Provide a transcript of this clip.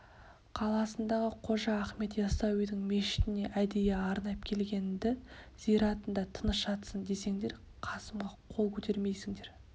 қаласындағы қожа ахмет яссауидың мешітіне әдейі арнап келген-ді зиратында тыныш жатсын десеңдер қасымға қол көтермейсіңдер